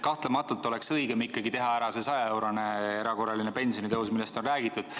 Kahtlematult oleks õigem ikkagi teha ära see 100-eurone erakorraline pensionitõus, millest on räägitud.